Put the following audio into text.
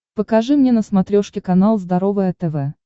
покажи мне на смотрешке канал здоровое тв